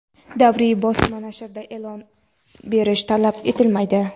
Davriy bosma nashrda e’lon berish talab etilmaydi.